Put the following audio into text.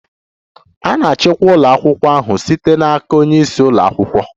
A na-achịkwa ụlọ akwụkwọ ahụ site n'aka onye isi ụlọ akwụkwọ.